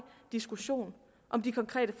diskussion om de konkrete